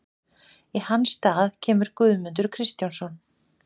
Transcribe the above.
Í hans stað kemur Guðmundur Kristjánsson.